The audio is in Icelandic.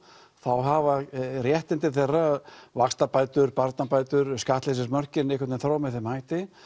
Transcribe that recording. þá hafa réttindi þeirra vaxtabætur barnabætur skattleysismörkin einhvern vegin þróast með þeim hætti